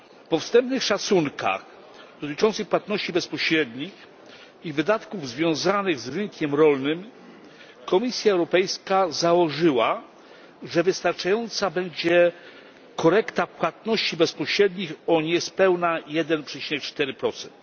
Po wstępnych szacunkach dotyczących płatności bezpośrednich i wydatków związanych z rynkiem rolnym Komisja Europejska założyła, że wystarczająca będzie korekta płatności bezpośrednich o niespełna 1,4 procent.